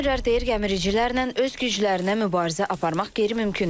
Fermerlər deyir gəmiricilərlə öz güclərinə mübarizə aparmaq qeyri-mümkündür.